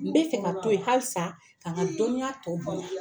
N bɛ fɛ ka to yen halisa k'an ka dɔnniya tɔ bonya.